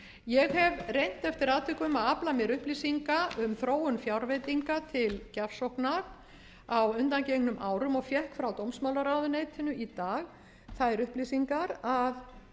ég hef reynt eftir atvikum að afla mér upplýsinga um þróun fjárveitinga til gjafsóknar á undangengnum árum og fékk frá dómsmálaráðuneytinu í dag þær upplýsingar að